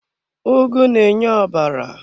Ugu na-enye ọbara.